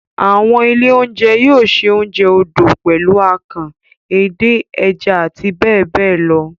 Àwọn ilé-oúnjẹ yóò se oúnjẹ odò pẹ̀lú akàn, edé, ẹja àti bẹ́ẹ̀ bẹ́ẹ̀ lọ.